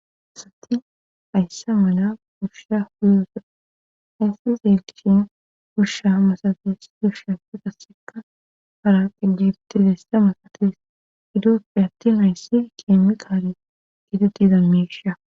asati hayssa mala gurshsha huyssa ayssi zeelkishen gusha masafees gusha fiqasseka haraqegibtidessa masates idooppe atti hayssi keemi kaale gidetiiza miisha